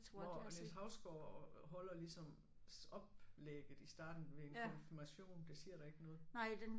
Hvor Niels Hausgaard holder ligesom oplægget i starten du ved en konfirmation det siger dig ikke noget